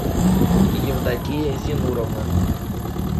евдокия зенуровна